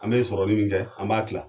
An bɛ sɔrɔnin min kɛ an b'a tila